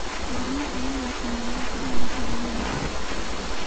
Goorma ayaa la sameeyay taallada xorriyadda?